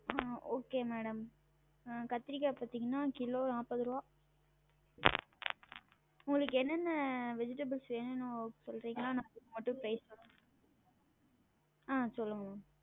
ஆஹ் okay madam அஹ் கத்திரிக்கா பாத்திங்கன்னா கிலோ நாப்பது ருவா உங்களுக்கு எனென்ன? vegetables வேணும் சொல்றீங்கன்னா நா அத ஆஹ் சொல்லுங்க maam